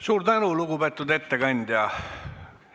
Suur tänu, lugupeetud ettekandja!